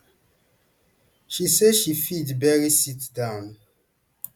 she say she fit barely sit down